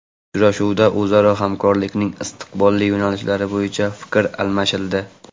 Uchrashuvda o‘zaro hamkorlikning istiqbolli yo‘nalishlari bo‘yicha fikr almashildi.